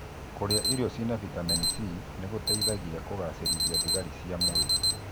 Kũrĩa irio ciĩna vitameni C nĩgũteithagia kũgacĩrithia thigari cia mwĩrĩ